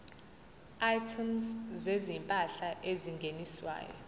items zezimpahla ezingeniswayo